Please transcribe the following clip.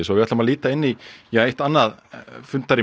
við ætlum að líta annað rými